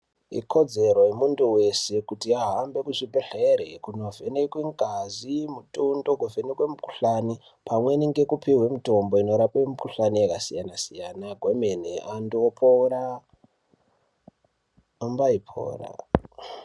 Ikodzero yemuntu wese kuti ahambe kuzvibhedhera kunovhenekwa ngazi, mutundo pamwe nekuvhenekwe mikhuhlani pamwe nekupuwe mitombo inorape mikhuhlani yakasiyana siyana kwemene antu opora, ombaipora.